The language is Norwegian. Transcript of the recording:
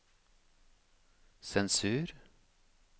sensur